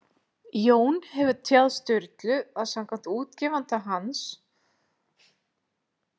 Jón hefur tjáð Sturlu að samkvæmt útgefanda hans